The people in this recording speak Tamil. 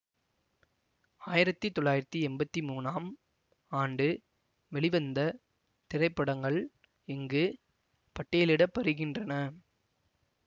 ஆயிரத்தி தொள்ளாயிரத்தி எம்பத்தி மூனாம் ஆண்டு வெளிவந்த திரைப்படங்கள் இங்கு பட்டியலிட படுகின்றன